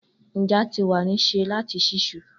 Nja ti wa ni se lati ṣiṣu.